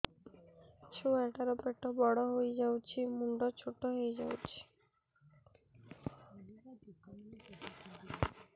ଛୁଆ ଟା ର ପେଟ ବଡ ହେଇଯାଉଛି ମୁଣ୍ଡ ଛୋଟ ହେଇଯାଉଛି